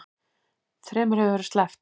Þremur hefur verið sleppt